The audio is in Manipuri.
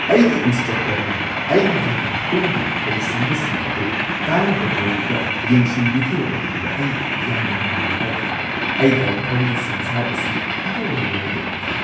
ꯑꯩꯒꯤ ꯏꯟꯁꯇ꯭ꯔꯛꯇꯔꯅ ꯑꯩꯒꯤ ꯒꯥꯔꯤ ꯊꯧꯕꯒꯤ ꯍꯩꯁꯤꯡꯕꯁꯤꯡ ꯑꯗꯨ ꯀꯥꯟꯅꯕ ꯃꯑꯣꯡꯗ ꯌꯦꯡꯁꯤꯟꯕꯤꯈꯤꯕ ꯃꯇꯝꯗ ꯑꯩ ꯌꯥꯝꯅ ꯅꯨꯡꯉꯥꯏꯕ ꯐꯥꯎꯈꯤ ꯫ ꯑꯩ ꯒꯥꯔꯤ ꯊꯧꯕꯒꯤ ꯁꯪꯁꯥꯔ ꯑꯁꯤ ꯑꯅꯧꯕ ꯃꯑꯣꯡꯗ ꯎꯈꯤ ꯫